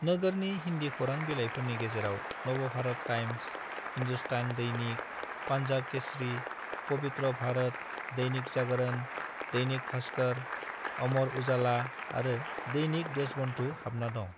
नोगोरनि हिन्दी खौरां बिलाइफोरनि गेजेराव नवभारत टाइम्स, हिंदुस्तान दैनिक, पान्जाब केसरी, पवित्र भारत, दैनिक जागरण, दैनिक भास्कर, अमर उजाला आरो दैनिक देशबंधु हाबना दं।